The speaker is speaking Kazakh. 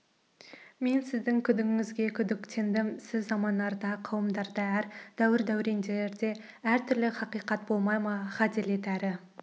мен сіздің күдігіңізге күдіктендім сіз замандарда қауымдарда әр дәуір-дәуренде әр түрлі хақиқат болмай ма ғаделет әрі